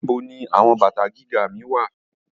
Where are my high heels